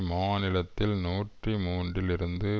மாநிலத்தில் நூற்றி மூன்றில் இருந்து